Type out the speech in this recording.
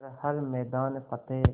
कर हर मैदान फ़तेह